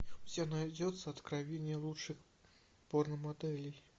у тебя найдется откровения лучших порномоделей